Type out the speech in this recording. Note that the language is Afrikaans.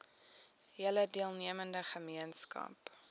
hele deelnemende gemeenskap